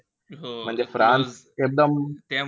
म्हणजे फ्रान्स एकदम,